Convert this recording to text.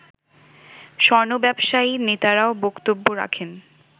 স্বর্ণ ব্যবসায়ী নেতারাও বক্তব্য রাখেন